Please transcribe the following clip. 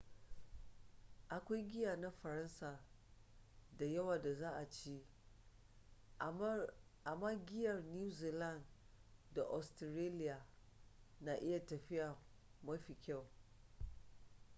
akwai giya na faransa da yawa da za a ci amma giyar new zealand da ostiraliya na iya tafiya mafi kyau